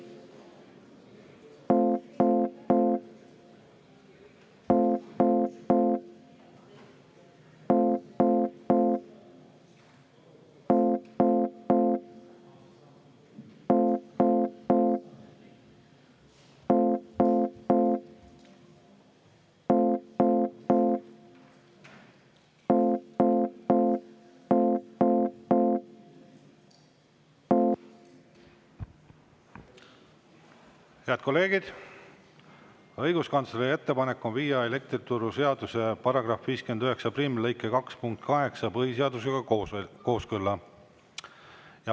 Head kolleegid, õiguskantsleri ettepanek on viia elektrituruseaduse § 591 lõike 2 punkt 8 põhiseadusega kooskõlla.